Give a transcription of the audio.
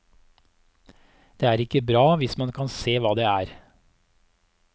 Det er ikke bra hvis man kan se hva det er.